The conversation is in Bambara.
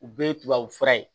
U bɛɛ ye tubabu fura ye